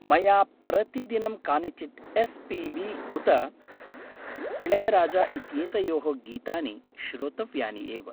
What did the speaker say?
मया प्रतिदिनं कानिचित् एस्.पि.बी. उत इळयाराजा इत्येतयोः गीतानि श्रोतव्यानि एव।